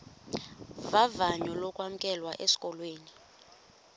vavanyo lokwamkelwa esikolweni